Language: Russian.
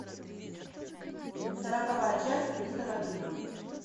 сороковая часть мистера бина